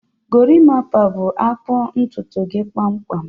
Gorimpa bu-akpụ ntutu gị kpamkpam